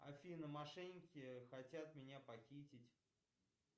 афина мошенники хотят меня похитить